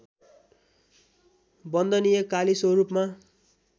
वन्दनीय काली स्वरूपमा